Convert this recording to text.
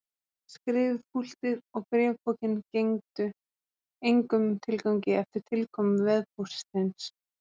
Skrifpúltið og bréfpokinn gengdu engum tilgangi eftir tilkomu vefpóstsins.